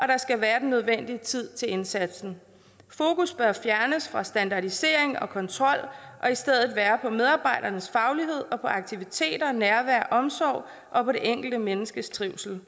der skal være den nødvendige tid til indsatsen fokus bør fjernes fra standardisering og kontrol og i stedet være på medarbejdernes faglighed og på aktiviteter nærvær omsorg og det enkelte menneskes trivsel